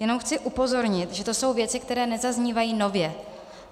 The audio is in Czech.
Jenom chci upozornit, že to jsou věci, které nezaznívají nově.